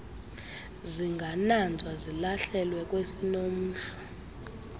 zingananzwa zilahlelwe kwesinomhlwa